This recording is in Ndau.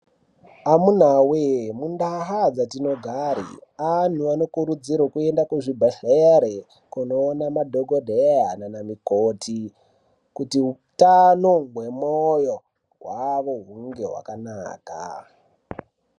Amuna we mundau dzatinogara antu anokurudzirwa kuenda kuzvibhedhlera kunoona madhokodheya nanamukoti kuti hutano hwemoyo hwavo hunge hwakanaka.